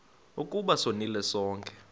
ukuba sonile sonke